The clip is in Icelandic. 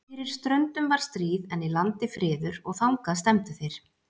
Fyrir ströndum var stríð, en í landi friður, og þangað stefndu þeir.